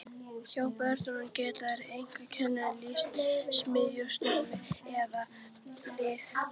Hjá börnum geta einkennin líkst smitsjúkdómi eða liðagigt.